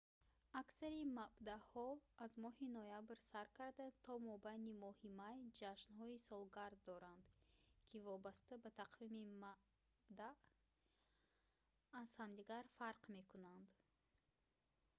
аксари мабдаъҳо аз моҳи ноябр сар карда то мобайни моҳи май ҷашнҳои солгард доранд ки вобаста ба тақвими мабдаъ аз ҳамдигар фарқ мекунанд